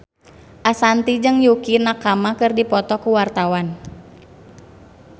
Ashanti jeung Yukie Nakama keur dipoto ku wartawan